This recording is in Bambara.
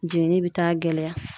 Jenini bɛ taa gɛlɛya.